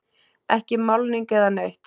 Ekki málning eða neitt.